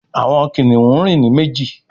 Àwọn kìnìún rìn ní méjì